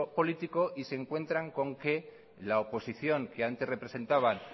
político y se encuentran con que la oposición que antes representaban